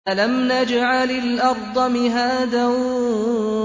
أَلَمْ نَجْعَلِ الْأَرْضَ مِهَادًا